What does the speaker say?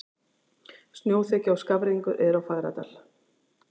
Snjóþekja og skafrenningur er á Fagradal